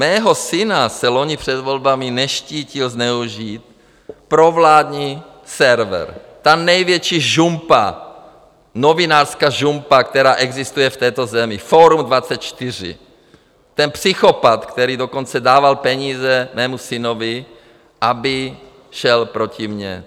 Mého syna se loni před volbami neštítil zneužít provládní server, ta největší žumpa, novinářská žumpa, která existuje v této zemi, Forum24, ten psychopat, který dokonce dával peníze mému synovi, aby šel proti mě.